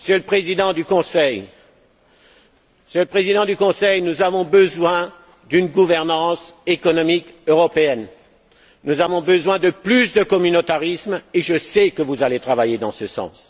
Monsieur le Président du Conseil, nous avons besoin d'une gouvernance économique européenne. Nous avons besoin de plus de communautarisme et je sais que vous allez travailler dans ce sens.